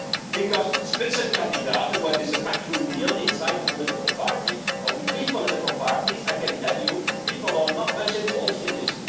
Because Spitzenkandidaten where there is a backroom deal inside a political party or between political parties I can tell you people are not very involved in this.